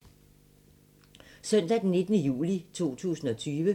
Søndag d. 19. juli 2020